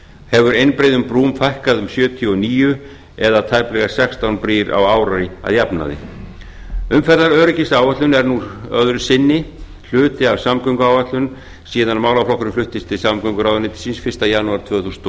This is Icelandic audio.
hefur einbreiðum brúm fækkað um sjötíu og níu eða tæplega sextán brýr á ári að jafnaði umferðaröryggisáætlun er nú öðru sinni hluti af samgönguáætlun síðan málaflokkurinn fluttist til samgönguráðuneytisins fyrsta janúar tvö þúsund og